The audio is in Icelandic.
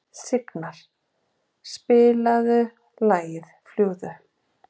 Signar, spilaðu lagið „Fljúgðu“.